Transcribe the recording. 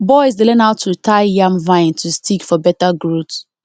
boys dey learn how to tie yam vine to stick for better growth